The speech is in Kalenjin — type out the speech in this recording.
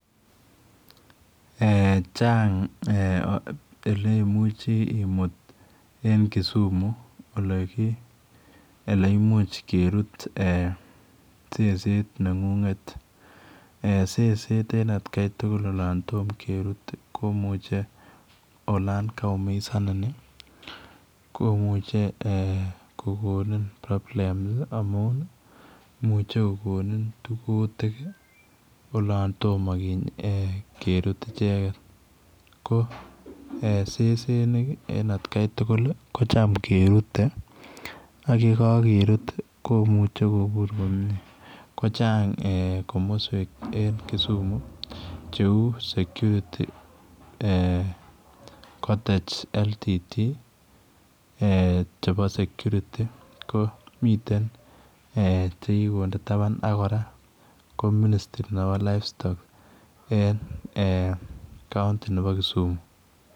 Eeh chaang' ole imuchii imuutu en Kisumu ele imuuch keruut eeh seset neng'ung'et, seset en at Kai tugul olaan toom keruut olaan kaumisaniin ii komuchei eeh kogonin problems ii amuun imuuchei kogonin kutiik ii olaan tomah keruut ichegeet ko eeh sesenik en at gai tugul ii kochaam kerutee ii ak ye kageruut ko kakubur komyei ko chaam kochaang' komosweek en Kisumu che uu security eeh cotec ldt chebo security eeh miten eeh chekikonde tabaan ak kora ko ministri nebo livestock en eeh county nebo Kisumu.